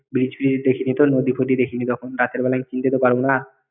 Bridge fridge দেখিনি কখনো নদী ফদী দেখিনি তখন রাতের বেলায় চিনতে তো পারবো না